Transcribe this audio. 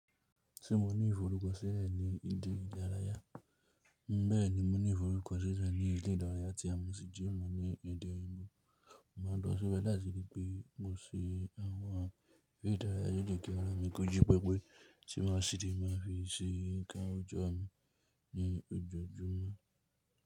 Se mo ní ìfọ̀rùkọṣílẹ̀ ní ìdí idaràyà? Bẹ́ẹ̀ ni mo ní ìfọ̀rùkọṣílẹ̀ ní ìdí idarayà tí a mọ̀ sí gym ní ẹ̀dẹ̀ ò. Mo má a lọ síbẹ̀ láisi bí pé mo ṣe àwọn eré ìdárayá lole je kí ara mi kóji pẹpẹ tí màá ṣìdi má a fi ṣe nǹkan òjọ́ mi ní ojojúmọ́.